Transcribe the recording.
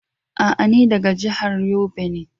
A'a ni daga jihar Yobe ne